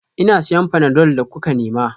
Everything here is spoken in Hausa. Ina siyan panadol da kuka nema